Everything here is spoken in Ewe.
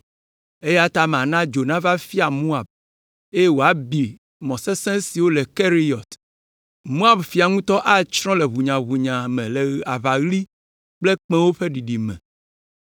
Eya ta mana dzo nava fia Moab, eye wòabi mɔ sesẽ siwo le Keriyɔt. Moab fia ŋutɔ atsrɔ̃ le ʋunyaʋunya me le aʋaɣli kple kpẽwo ƒe ɖiɖi me,